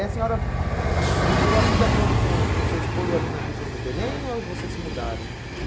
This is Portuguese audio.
a senhora viveu a vida toda com o com o seu esposo ali na região do Belém ou ah vocês se mudaram?